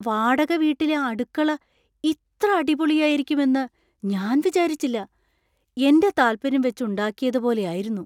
വാടകവീട്ടിലെ അടുക്കള ഇത്ര അടിപൊളിയായിരുക്കും എന്ന് ഞാൻ വിചാരിച്ചില്ല! എൻ്റെ താത്പര്യം വെച്ച് ഉണ്ടാക്കിയത് പോലെ ആയിരുന്നു.